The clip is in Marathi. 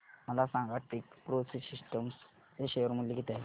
मला सांगा टेकप्रो सिस्टम्स चे शेअर मूल्य किती आहे